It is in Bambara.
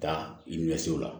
Taa la